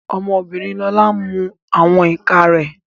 Ọmọ obìnrin Lolú ń mu àwọn ìka rẹ̀